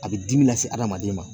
A bi dimi lase hadamaden ma.